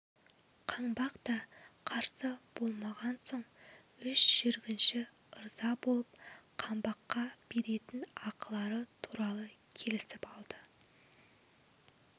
қаңбақ та қарсы болмаған соң үш жүргінші ырза болып қаңбаққа беретін ақылары туралы келісіп алды